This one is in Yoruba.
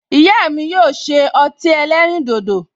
Ìyá mi yóò ṣe ọtí ẹlẹ́rìndòdò